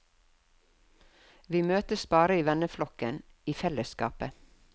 Vi møttes bare i venneflokken, i fellesskapet.